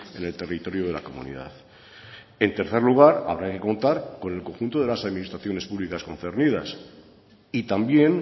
en el territorio de la comunidad en tercer lugar habrá que contar con el conjunto de las administraciones públicas concernidas y también